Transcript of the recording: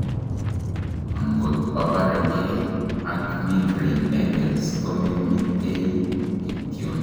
angot obaregei ak migraine headaches, komemitei kityon